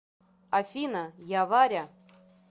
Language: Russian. афина я варя